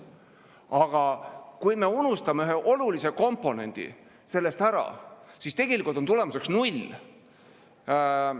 Aga kui me unustame ühe olulise komponendi sellest ära, siis on tulemuseks null.